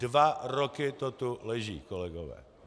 Dva roky to tu leží, kolegové.